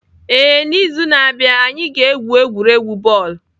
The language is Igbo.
Ee, n'izu na-abịa, anyị ga-egwu egwuregwu bọọlụ.